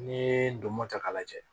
N'i ye domo ta k'a lajɛ